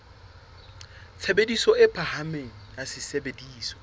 tshebediso e phahameng ya sesebediswa